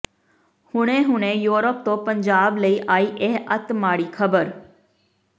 ਹੁਣੇ ਹੁਣੇ ਯੂਰਪ ਤੋਂ ਪੰਜਾਬ ਲਈ ਆਈ ਇਹ ਅੱਤ ਮਾੜੀ ਖਬਰ